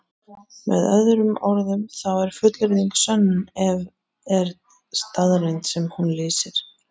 Með öðrum orðum þá er fullyrðing sönn ef til er staðreynd sem hún lýsir.